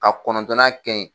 A kɔnɔntɔnan kɛ yen.